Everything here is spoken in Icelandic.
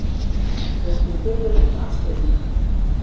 Þótti furðulegt afstyrmi.